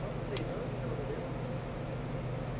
Só com três anos, quando ela morreu?